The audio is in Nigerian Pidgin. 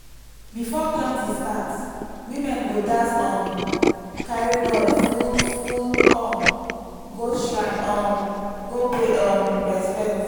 before planting start women go dance um carry gourd full full corn go shrine um go pay um respect.